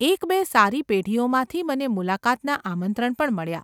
એકબે સારી પેઢીઓમાંથી મને મુલાકાતનાં આમંત્રણ પણ મળ્યાં.